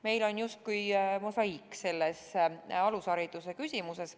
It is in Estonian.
Meil on justkui mosaiik selles alushariduse küsimuses.